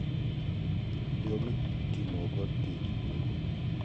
Yo mitimogo tij lwoko pi